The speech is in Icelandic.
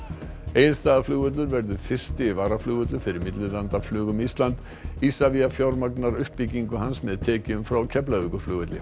Egilsstaðaflugvöllur verður fyrsti varavöllur fyrir millilandaflug um Ísland Isavia fjármagnar uppbyggingu hans með tekjum frá Keflavíkurvelli